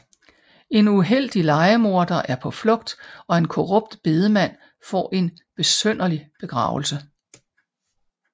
En uheldig lejemorder er på flugt og en korrupt bedemand får en besynderlig begravelse